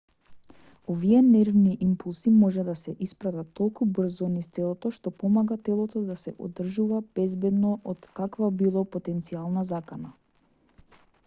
овие нервни импулси може да се испратат толку брзо низ телото што помага телото да се одржува безбедно од каква било потенцијална закана